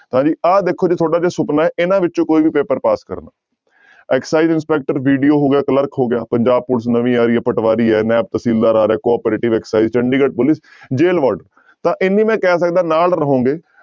ਤਾਂ ਜੀ ਆਹ ਦੇਖੋ ਜੀ ਤੁਹਾਡਾ ਜੇ ਸੁਪਨਾ ਹੈ ਇਹਨਾਂ ਵਿੱਚੋਂ ਕੋਈ ਵੀ ਪੇਪਰ ਪਾਸ ਕਰਨਾ excise ਇੰਸਪੈਕਟਰ BDO ਹੋ ਗਿਆ ਕਲਰਕ ਹੋ ਗਿਆ, ਪੰਜਾਬ ਪੁਲਿਸ ਨਵੀਂ ਆ ਰਹੀ ਹੈ, ਪਟਵਾਰੀ ਹੈ, ਨੈਬ ਤਹਿਸੀਲਦਾਰ ਆ cooperative Chandigarh police jail ward ਤਾਂ ਇੰਨੀ ਮੈਂ ਕਹਿ ਸਕਦਾਂ ਨਾਲ ਰਹੋਗੇ